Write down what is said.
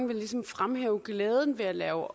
vil ligesom fremhæve glæden ved at lave